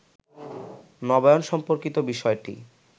নবায়ন সম্পর্কিত বিষয়টি